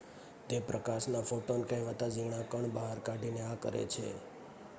"તે પ્રકાશના "ફોટોન" કહેવાતા ઝીણા કણ બહાર કાઢીને આ કરે છે.